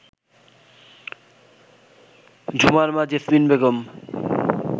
ঝুমার মা জেসমিন বেগম